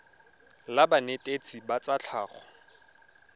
la banetetshi ba tsa tlhago